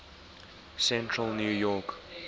central new york